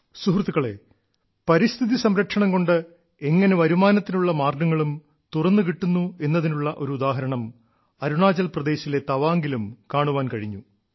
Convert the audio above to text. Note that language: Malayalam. സുഹൃത്തുക്കളേ പരിസ്ഥിതി സംരക്ഷണം കൊണ്ട് എങ്ങനെ വരുമാനത്തിനുള്ള മാർഗ്ഗങ്ങളും തുറന്നു കിട്ടുന്നു എന്നതിനുള്ള ഒരു ഉദാഹരണം അരുണാചൽപ്രദേശിലെ തവാംഗിലും കാണാൻ കഴിഞ്ഞു